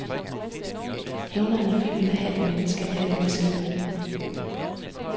Hævneren i filmen er halvt menneske, halvt maskine.